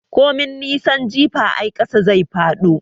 Komin nisan jifa ai ƙasa zai faɗo.